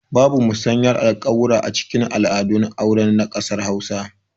Babu musayar alƙawura acikin al'adun aure na ƙasar hausa